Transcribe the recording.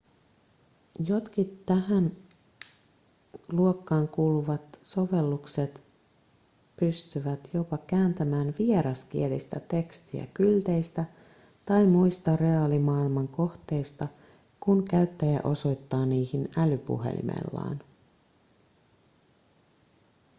jotkin tähän luokkaan kuuluvat sovellukset pystyvät jopa kääntämään vieraskielistä tekstiä kylteistä tai muista reaalimaailman kohteista kun käyttäjä osoittaa niihin älypuhelimellaan